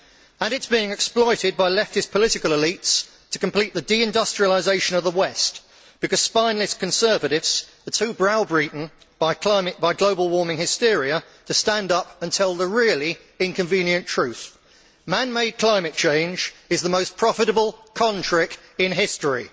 And it is being exploited by leftist political elites to complete the deindustrialisation of the west because spineless conservatives are too browbeaten by global warming hysteria to stand up and tell the really inconvenient truth man made climate change is the most profitable con trick in history.